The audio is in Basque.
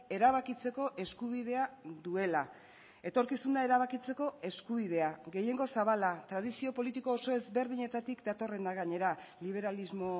erabakitzeko eskubidea duela etorkizuna erabakitzeko eskubidea gehiengo zabala tradizio politiko oso ezberdinetatik datorrena gainera liberalismo